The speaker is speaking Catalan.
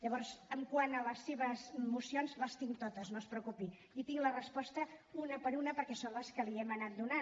llavors quant a les seves mocions les tinc totes no es preocupi i tinc les respostes una per una perquè són les que li hem anat donant